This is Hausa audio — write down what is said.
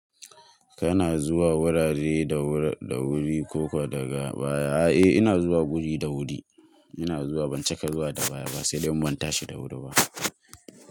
Kana zuwa wurare da wuri da wuri ko ko daga baya? A eh ina zuwa guri da wuri, ina zuwa ban caka zuwa da baya ba, sai dan in banta shi da wuri ba.